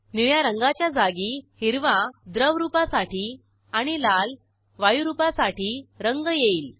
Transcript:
निळ्या रंगाच्या जागी हिरवा द्रवरूपासाठी आणि लालवायुरूपासाठी रंग येईल